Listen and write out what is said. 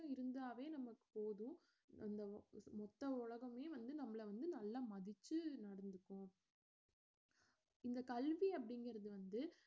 இருந்தாவே நமக்கு போதும் இந்த உ~ மொத்த உலகமே வந்து நம்மளை வந்து நல்லா மதிச்சு நடந்துக்கும் இந்த கல்வி அப்படிங்கிறது வந்து